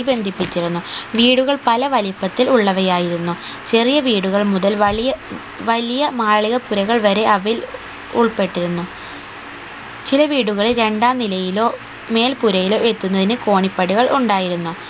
ബന്ധിപ്പിച്ചിരുന്നു വീടുകൾ പലവലിപ്പത്തിൽ ഉള്ളവയായിരുന്നു ചെറിയ വീടുകൾ മുതൽ വലിയ വലിയ മാളികപ്പുരകൾ വരെ അവയിൽ ഉൾപ്പെട്ടിരുന്നു ചില വീടുകൾ രണ്ടാം നിലയിലോ മേൽപ്പുരയിലോ എത്തുന്നതിന് കോണിപ്പടികൾ ഉണ്ടായിരുന്നു